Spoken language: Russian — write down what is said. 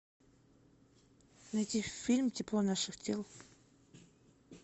найти фильм тепло наших тел